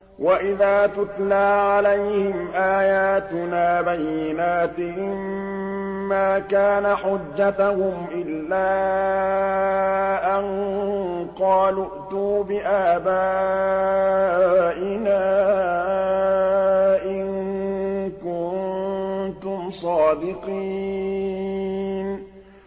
وَإِذَا تُتْلَىٰ عَلَيْهِمْ آيَاتُنَا بَيِّنَاتٍ مَّا كَانَ حُجَّتَهُمْ إِلَّا أَن قَالُوا ائْتُوا بِآبَائِنَا إِن كُنتُمْ صَادِقِينَ